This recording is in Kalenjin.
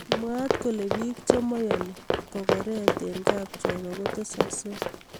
Mwaat kole biik chemeyani kokoret eng kapchorwa kotesaksei